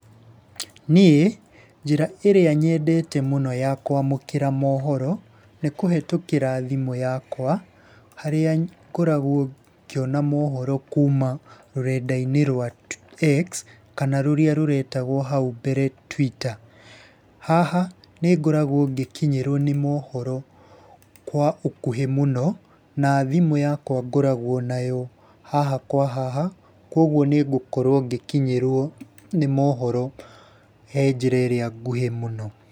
Niĩ njĩra ĩrĩa nyendete mũno ya kwamũkĩra mohoro, nĩ kũhetũkĩra thimũ yakwa, harĩa ngoragwo ngĩona mohoro kuuma rũrenda-inĩ rwa X kana rũrĩa rũretagwo hau mbere Twitter. Haha nĩ ngoragwo ngĩkinyĩrwi nĩ mhoro kwa ũkuhĩ mũno, na thimũ yakwa ngoragwo nayo haha kwa haha, kwoguo nĩ ngũkorwo ngĩkinyĩrwo nĩ mohoro he njĩra ĩrĩa nguhĩ mũno.